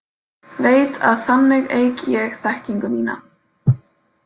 Veit að þannig eyk ég þekkingu mína.